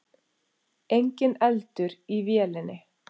Enginn eldur í vélinni